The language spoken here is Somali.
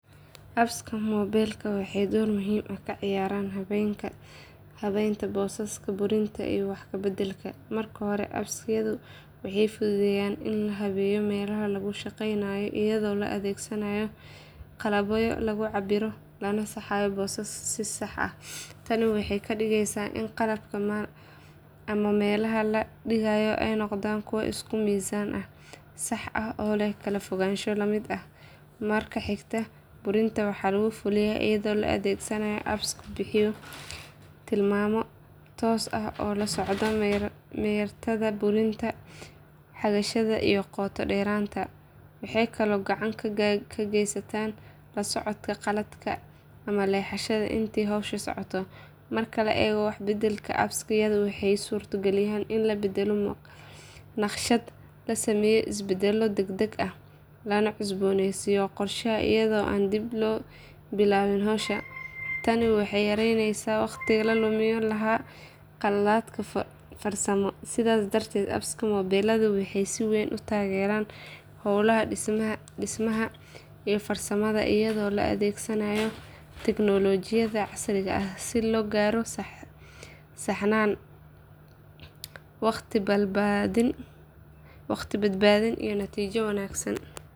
Appska moobiilka waxay door muhiim ah ka ciyaaraan habaynta boosaska, burinta, iyo wax ka beddelka. Marka hore, apps-yadu waxay fududeeyaan in la habeeyo meelaha laga shaqaynayo iyadoo la adeegsanayo qalabyo lagu cabbiro lana saxayo booska si sax ah. Tani waxay ka dhigeysaa in qalabka ama meelaha la dhigayo ay noqdaan kuwo isku miisaan ah, sax ah oo leh kala fogaansho la mid ah. Marka xigta, burinta waxaa lagu fuliyaa iyadoo la adeegsanayo apps bixiya tilmaamo toos ah oo la socda meertada burinta, xagasha iyo qoto-dheeraanta. Waxay kaloo gacan ka geystaan la socodka qaladka ama leexashada intii hawsha socoto. Marka la eego wax ka beddelka, apps-yadu waxay suurto galiyaan in la beddelo naqshad, la sameeyo isbeddello degdeg ah, lana cusboonaysiiyo qorshaha iyadoo aan dib loo bilaabin hawsha. Tani waxay yareyneysaa waqtiga la lumin lahaa iyo qaladaadka farsamo. Sidaas darteed, appska moobiilku waxay si weyn u taageeraan howlaha dhismaha iyo farsamada iyadoo la adeegsanayo tignoolajiyada casriga ah si loo gaaro saxnaan, waqti badbaadin, iyo natiijo wanaagsan.